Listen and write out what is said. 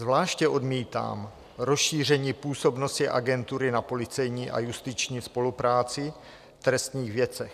Zvláště odmítám rozšíření působnosti Agentury na policejní a justiční spolupráci v trestních věcech.